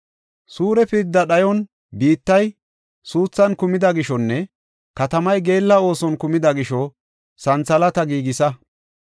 “Suure pirda dhayon biittay suuthan kumida gishonne katamay geella ooson kumida gisho santhalaata giigisa.